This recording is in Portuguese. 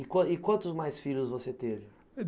E quantos quantos mais filhos você teve?